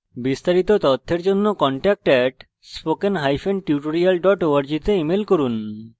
বিস্তারিত তথ্যের জন্য contact @spokentutorial org তে ইমেল করুন